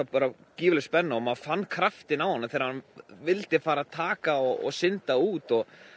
gífurleg spenna og maður fann kraftinn á honum þegar hann vildi fara taka og synda út